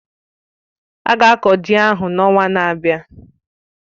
Ága akọ ji ahụ n'ọnwa na-abịa